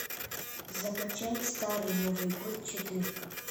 закачай старый новый год четырка